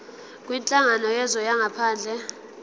kwinhlangano yezwe langaphandle